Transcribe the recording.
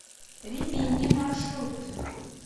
римини маршрут